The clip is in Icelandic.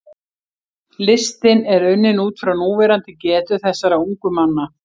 Listinn er unninn út frá núverandi getu þessara ungu manna.